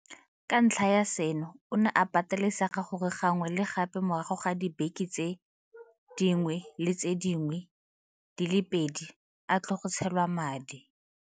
Ka ntlha ya seno, o ne a patelesega gore gangwe le gape morago ga dibeke tse dingwe le tse dingwe di le pedi a tle go tshelwa madi.